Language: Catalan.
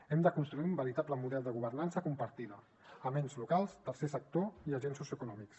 hem de construir un veritable model de governança compartida amb ens locals tercer sector i agents socioeconòmics